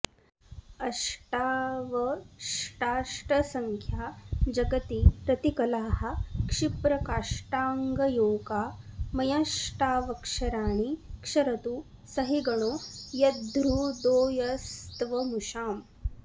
अष्टावष्टाष्टसङ्ख्या जगति रतिकलाः क्षिप्रकाष्टाङ्गयोगा मय्यष्टावक्षराणि क्षरतु सहिगणो यद्धृदोयस्त्वमूषाम्